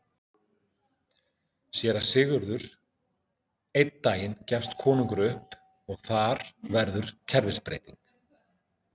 SÉRA SIGURÐUR: Einn daginn gefst konungur upp og þar verður kerfisbreyting!